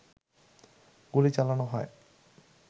গুলি চালানো হয়